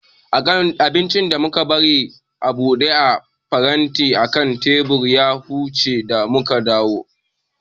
Abincin da muka bari a buɗe a faranti akan teburi ya huce da muka dawu